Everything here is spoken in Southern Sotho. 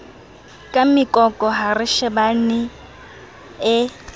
ka mekoko ha reshebana e